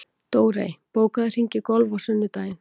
Dórey, bókaðu hring í golf á sunnudaginn.